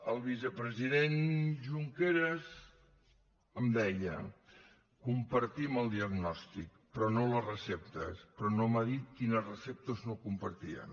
el vicepresident junqueras em deia compartim el diagnòstic però no les receptes però no m’ha dit quines receptes no compartien